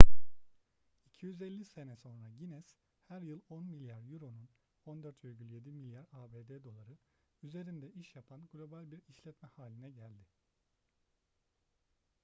250 sene sonra guinness her yıl 10 milyar euro'nun 14,7 milyar abd doları üzerinde iş yapan global bir işletme haline geldi